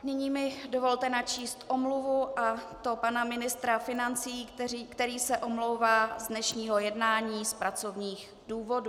Nyní mi dovolte načíst omluvu, a to pana ministra financí, který se omlouvá z dnešního jednání z pracovních důvodů.